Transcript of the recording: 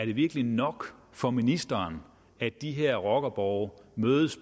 det virkelig nok for ministeren at de her rockerborge